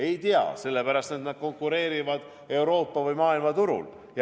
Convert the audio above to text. Ei tea, sellepärast et nad konkureerivad Euroopa või maailma turul.